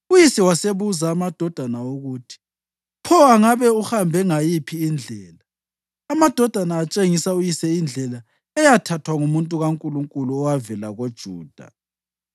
Uyise wasebuza amadodana ukuthi: “Pho angabe uhambe ngayiphi indlela?” Amadodana atshengisa uyise indlela eyathathwa ngumuntu kaNkulunkulu owavela koJuda.